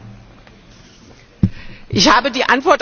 Ich habe die Antwort auf diese Frage schon gegeben.